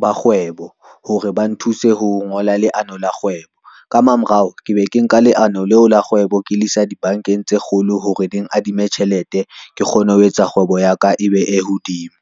ba kgwebo, hore ba nthuse ho ngola leano la kgwebo ka mamorao, ke be ke nka leano leo la kgwebo, ke le isa dibankeng tse kgolo hore ding adime tjhelete, ke kgone ho etsa kgwebo ya ka e be e hodimo.